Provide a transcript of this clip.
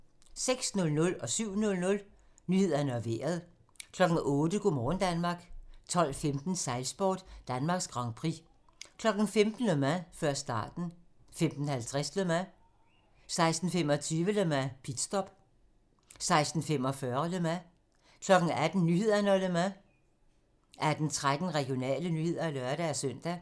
06:00: Nyhederne og Vejret 07:00: Nyhederne og Vejret 08:00: Go' morgen Danmark 12:15: Sejlsport: Danmarks Grand Prix 15:00: Le Mans - før starten 15:50: Le Mans 16:25: Le Mans - pitstop 16:45: Le Mans 18:00: Nyhederne og Le Mans 18:13: Regionale nyheder (lør-søn)